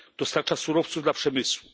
Dostarcza surowców dla przemysłu.